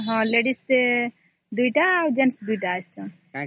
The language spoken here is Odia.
ହଁ ladies ୨ ଜଣ ଆଉ gents ୨ ଜଣ